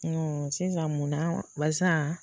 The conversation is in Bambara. Nɔn sisan mun na wa balisa